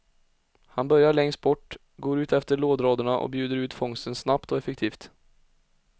Han börjar längst bort, går utefter lådraderna och bjuder ut fångsten snabbt och effektivt.